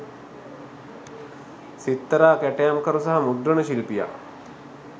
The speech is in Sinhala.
සිත්තරා කැටයම්කරු සහ මුද්‍රන ශිල්පියා